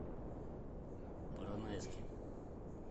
поронайске